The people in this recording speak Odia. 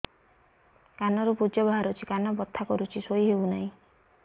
କାନ ରୁ ପୂଜ ବାହାରୁଛି କାନ ବଥା କରୁଛି ଶୋଇ ହେଉନାହିଁ